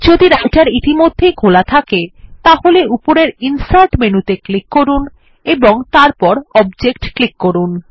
যদি রাইটের ইতিমধ্যেই খোলা থাকে তাহলে উপরের ইনসার্ট menu ত়ে ক্লিক করুন এবং তারপর অবজেক্ট ক্লিক করুন